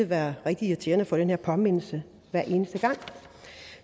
være rigtig irriterende at få den her påmindelse hver eneste gang